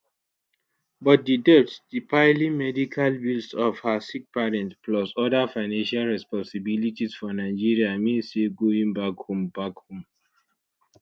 but di debts di piling medical bills of her sick parents plus oda financial responsibilities for nigeria mean say going back home back home